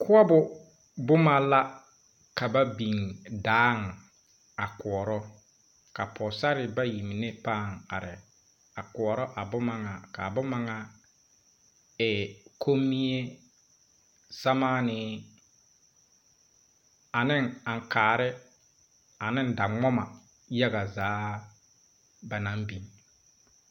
Koɔbo buma la ka ba bing daa a kooro ka pɔgsarre bayi mene paa arẽ a kooro a buma nga kaa buma nga e kunmii, samanii ane ankaare ane dawoma yaga zaa ba nang bin.